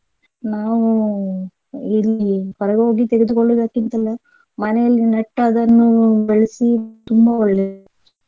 ನಾವು ಇಲ್ಲಿ ಹೊರ ಹೋಗಿ ತೆಗೆದುಕೊಳ್ಳುವುದಕ್ಕಿಂತಲೂ ಮನೆಯಲ್ಲೇ ನೆಟ್ಟು ಅದನ್ನು ಬೆಳೆಸಿ ತುಂಬಾ ಒಳ್ಳೆದು.